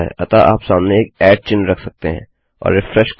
अतः आप सामने एक चिह्न रख सकते हैं और रिफ्रेश करें